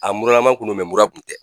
A muralama kun no mɛ mura kun tɛ.